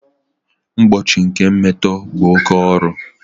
Mgbochi nke mmetọ bụ oke ọrụ